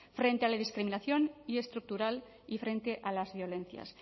frente a la discriminación y estructural y frente a las violencias